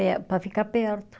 É, para ficar perto.